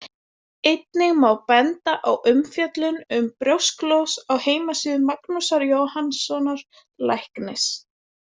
Einnig má benda á umfjöllun um brjósklos á heimasíðu Magnúsar Jóhannssonar læknis.